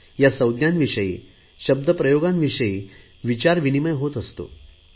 या संज्ञांविषयी शब्द प्रयोगांविषयी विचार विनिमय होत असतो